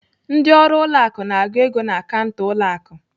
Ndị ọrụ ụlọ akụ na-agụ ego na kanta ụlọ akụ.